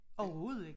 Overhovedet ik